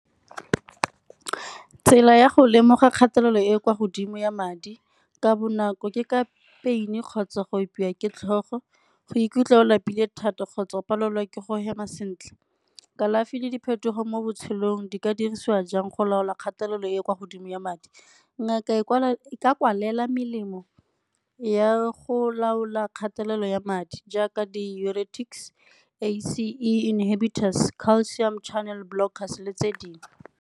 Tsela ya go lemoga kgatelelo e e kwa godimo ya madi ka bonako ke ka pain-e kgotsa go opiwa ke tlhogo, go ikutlwa o lapile thata kgotsa go palelwa ke go hema sentle. Kalafi le diphetogo mo botshelong di ka dirisiwa jang go laola kgatelelo e kwa godimo ya madi? Ngaka e ka kwalela melemo ya go laola kgatelelo ya madi jaaka di le tse dingwe.